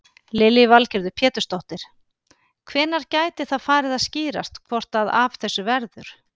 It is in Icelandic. Lillý Valgerður Pétursdóttir: Hvenær gæti það farið að skýrast hvort að af þessu verður?